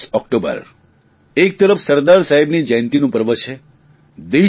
31 October એક તરફ સરદાર સાહેબની જયંતિનું પર્વ છે